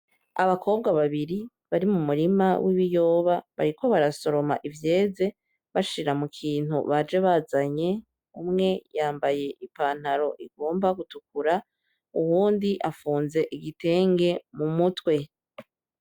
Abakobwa babiri bari mu murima w'ibiyoba bariko barasoroma ivyeze bashira mukintu baje bazanye umwe yambaye ipantaro igomba gutukura ,uwundi afunz'igitenge mu mutwe.